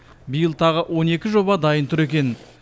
биыл тағы он екі жоба дайын тұр екен